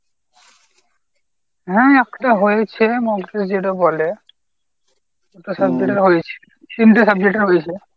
হ্যাঁ একটা হয়েছে মধ্যে যেটা বলে। দুটা subject এর হয়েছে। তিনটা subject এর হয়েছে।